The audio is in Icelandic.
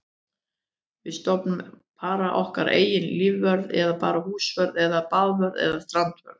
Við stofnum bara okkar eigin lífvörð eða bara húsvörð eða baðvörð eða strandvörð.